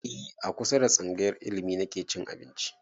E a kusa da tsangayar ilimi nake cin abinci